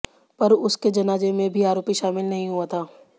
पर उसके जनाजे में भी आरोपी शामिल नहीं हुआ था